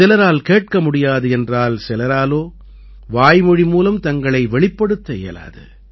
சிலரால் கேட்க முடியாது என்றால் சிலராலோ வாய்மொழி மூலம் தங்களை வெளிப்படுத்த இயலாது